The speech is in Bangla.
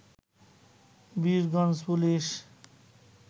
বীরগঞ্জ পুলিশ